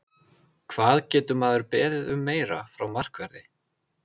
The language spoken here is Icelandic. Hvað getur maður beðið um meira frá markverði?